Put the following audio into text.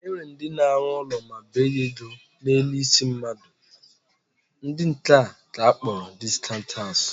E nwere ndị na-alụ ụlọ ma bee ya ego na-eresị ndị mmadụ, ndị nke a ka akpọrọ discount house